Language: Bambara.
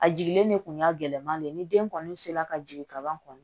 A jigilen de kun y'a gɛlɛman de ye ni den kɔni sera ka jigin kaban kɔni